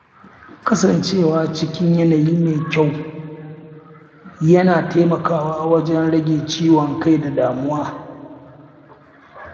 Kasancewa a cikin yanayi mai kyau yana taimakawa wajen rage ciwon kai da damuwa.